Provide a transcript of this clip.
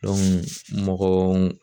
mɔgɔ